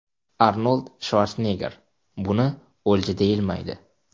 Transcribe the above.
Arnold Shvarsenegger: Buni o‘lja deyilmaydi!.